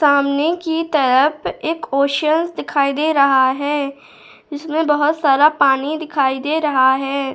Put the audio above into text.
सामने की तरफ एक ओशियन दिखाई दे रहा है इसमें बहुत सारा पानी दिखाई दे रहा है।